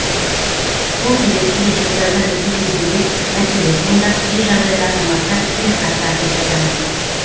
сол себепті де шекарадан өту кезінде мәселе туындап кей жағдайда азаматтар кері қайтарылып жатады